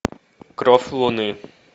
кровь луны